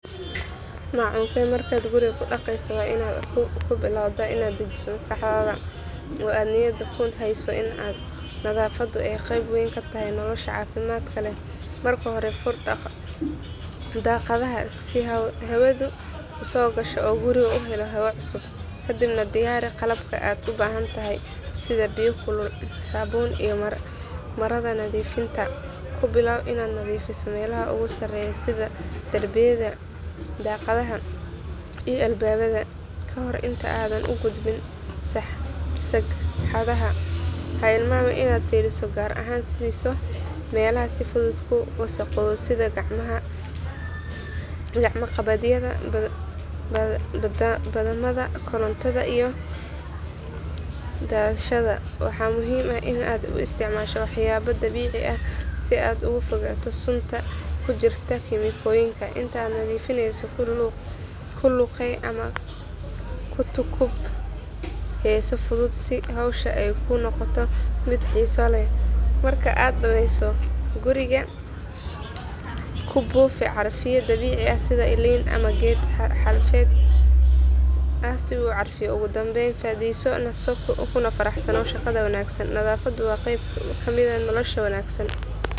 Macunkee marka guriga kuu dhaqeyso wa inaad kubilowda inad dajiso maskaxdada oo aad niyada kuu hayso iin aad nadafada Qeyb weyn katahay nolasha cafimadka leh marka hore marka hore kudhaaq daqadaha sii haawo usoo gaasho oo guriga uu helo haawo cusuub kadhibna diyaari qalaabka aad uu bahaantahay sida biyo kuluul sabuun iyo maradaa nadifiinta kuu biloow inad nadiifiso melaha uguu sareeyo sidaa darbiyaada daqadaha iyo ilbaabada kahor inta adaan uu gudbiin sagxadaha haa hilmamiin inaad firiso gaar ahaan sidii melaha sida fuduud kuu wasaqo sidaa gacmaha gacmo qabadyada balamada Korontada iyo dadashada wxaa muhim ah anaad aad uu isticmasho waxyaabo dabici ah sii aad ugaa fogaato suunta kuu jirta kimikoyinka intaad nadifineyso kunooqo sii fuduud kugu noqooto miid xiiso leeh marka aad dhameyso guriga kuu buufii carfiiye dhabiicii ah sidhaa liin amaa geed xafadeed sii uu u carfiyo ogu danbeyn fadhiiso kuna faraxsanoow shaqaada wanagsaan nadafada Waa qeyb kamid ah nolasha wanagsan